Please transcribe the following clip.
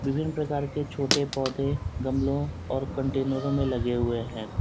विभिन्न प्रकार के छोटे पौधे गमलों और कंटेनरों में लगे हुए है।